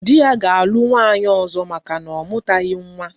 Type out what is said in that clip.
Di ya ga alu nwunye ozo maka na omutabeghi nwa